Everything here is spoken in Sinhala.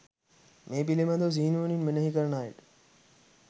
මේ පිළිබඳ සිහිනුවණින් මෙනෙහි කරන අයට